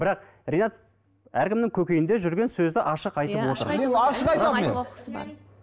бірақ ринат әркімнің көкейінде жүрген сөзді ашық айтып отыр